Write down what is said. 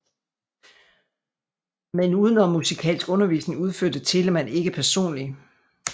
Men udenommusikalsk undervisning udførte Telemann ikke personlig